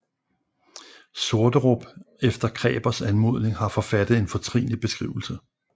Sorterup efter Krebers anmodning har forfattet en fortrinlig beskrivelse